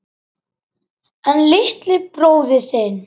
LÁRUS: En litli bróðir þinn?